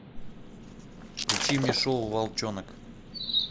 включи мне шоу волчонок